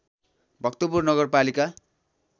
भक्तपुर नगरपालिका